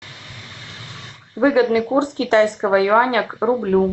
выгодный курс китайского юаня к рублю